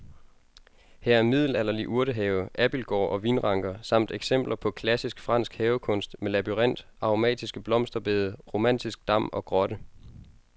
Her er middelalderlig urtehave, abildgård og vinranker samt eksempler på klassisk fransk havekunst med labyrint, aromatiske blomsterbede, romantisk dam og grotte.